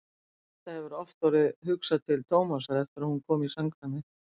Eddu hefur oft orðið hugsað til Tómasar eftir að hún kom í samkvæmið.